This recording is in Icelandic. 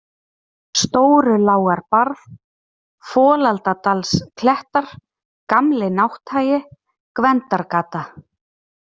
Stórulágarbarð, Folaldadalsklettar, Gamli-Nátthagi, Gvendargata